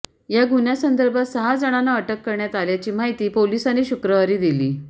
या गुन्ह्यासंदर्भात सहा जणांना अटक करण्यात आल्याची माहिती पोलिसांनी शुक्रवारी दिली